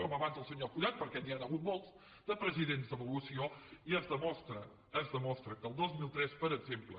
com abans el senyor fullat perquè n’hi han hagut molts de presidents d’avaluació i es demostra es demostra que al dos mil tres per exemple